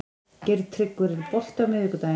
Geirtryggur, er bolti á miðvikudaginn?